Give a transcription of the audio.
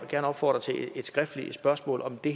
gerne opfordre til et skriftligt spørgsmål om det